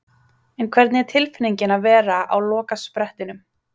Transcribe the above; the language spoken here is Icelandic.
En hvernig er tilfinningin að vera á lokasprettinum?